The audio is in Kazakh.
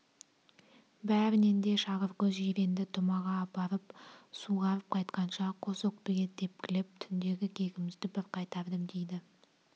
бәрінен де шағыркөз жиренді тұмаға апарып суғарып қайтқанша қос өкпеге тепкілеп түндегі кегімізді бір қайтардым дейді